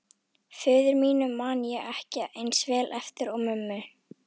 Föður mínum man ég ekki eins vel eftir og mömmu.